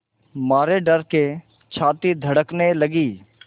मारे डर के छाती धड़कने लगी